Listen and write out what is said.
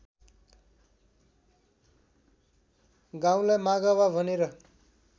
गाउँलाई मागावा भनेर